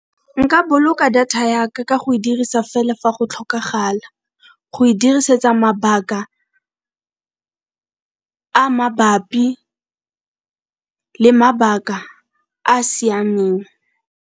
Nka boloka data yaka ka go e dirisa fela fa go tlhokagala, go e dirisetsa mabaka a mabapi le mabaka a siameng.